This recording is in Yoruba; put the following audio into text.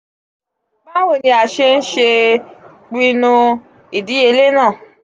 bawo ni a ṣe n se pinnu idiyele naa?